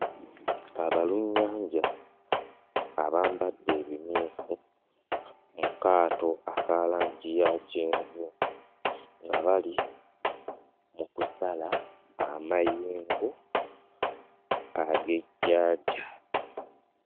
Abalunnyanja abambadde ebimyufu mu kaato aka langi ya kyenvu nga bali mu kusala amayengo ag'ennyanja.